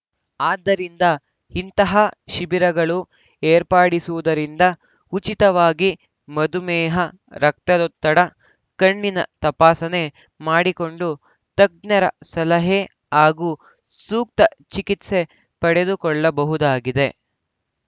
ಆದ್ದರಿಂದ ಇಂತಹ ಶಿಬಿರಗಳು ಏರ್ಪಡಿಸುವುದರಿಂದ ಉಚಿತವಾಗಿ ಮಧುಮೇಹ ರಕ್ತದೊತ್ತಡ ಕಣ್ಣಿನ ತಪಾಸಣೆ ಮಾಡಿಕೊಂಡು ತಜ್ಞರ ಸಲಹೆ ಹಾಗೂ ಸೂಕ್ತ ಚಿಕಿತ್ಸೆ ಪಡೆದುಕೊಳ್ಳಬಹುದಾಗಿದೆ